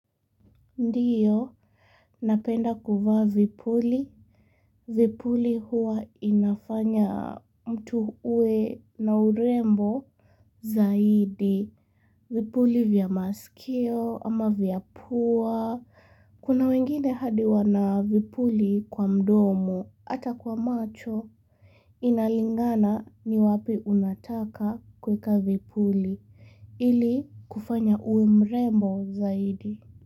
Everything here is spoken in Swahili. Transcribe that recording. Ndio, napenda kuvaa vipuli. Vipuli huwa inafanya mtu uwe na urembo zaidi. Vipuli vya masikio ama vya pua. Kuna wengine hadi wana vipuli kwa mdomo, ata kwa macho. Inalingana ni wapi unataka kuweka vipuli. Ili kufanya uwe mrembo zaidi.